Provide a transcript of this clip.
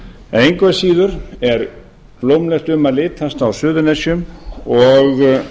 engu að síður er blómlegt um að litast á suðurnesjum og